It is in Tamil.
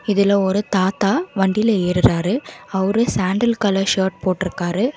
இதுல ஒரு தாத்தா வண்டில ஏறுறாரு அவரு சாண்டில் கலர் ஷர்ட் போட்ருக்காரு.